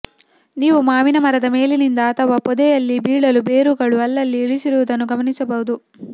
ನೀವು ಮಾವಿನ ಮರದ ಮೇಲಿನಿಂದ ಅಥವ ಪೊದೆಯಲ್ಲಿ ಬಿಳಿಲು ಬೇರುಗಳು ಅಲ್ಲಲ್ಲಿ ಇಳಿದಿರುವದನ್ನು ಗಮನಿಸಿರಬಹುದು